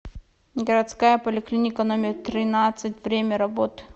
городская поликлиника номер тринадцать время работы